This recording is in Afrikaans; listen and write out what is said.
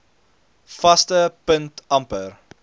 vaste punt amper